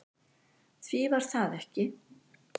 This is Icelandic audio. Því var það ekki